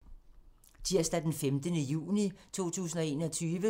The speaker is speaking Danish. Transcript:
Tirsdag d. 15. juni 2021